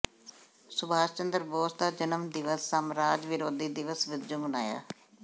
ਸੁਭਾਸ਼ ਚੰਦਰ ਬੋਸ ਦਾ ਜਨਮ ਦਿਵਸ ਸਾਮਰਾਜ ਵਿਰੋਧੀ ਦਿਵਸ ਵਜੋਂ ਮਨਾਇਆ